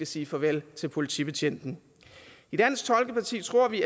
sige farvel til politibetjentene i dansk folkeparti tror vi